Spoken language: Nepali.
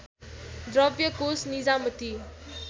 द्रव्य कोष निजामती